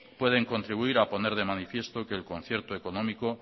pueden contribuir a poner de manifiesto que el concierto económico